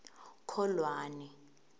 kholwane